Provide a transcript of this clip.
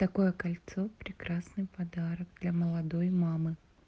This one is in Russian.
такое кольцо прекрасный подарок для молодой мамы